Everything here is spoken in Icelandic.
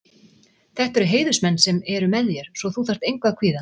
Þetta eru heiðursmenn sem eru með þér svo þú þarft engu að kvíða.